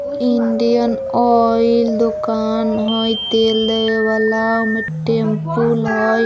Indian Oil दुकान है तेल दए वाला उमें टेमपुल है।